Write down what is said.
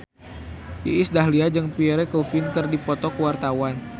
Iis Dahlia jeung Pierre Coffin keur dipoto ku wartawan